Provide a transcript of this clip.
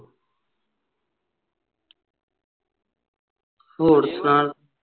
ਹੋਰ ਸੁਣਾ